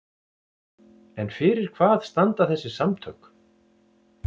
En fyrir hvað standa þessi samtök?